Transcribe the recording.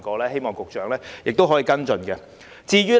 希望局長可以跟進。